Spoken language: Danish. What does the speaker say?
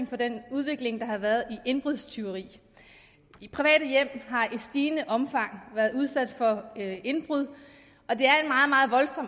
på den udvikling der har været i indbrudstyveri private hjem har i stigende omfang været udsat for indbrud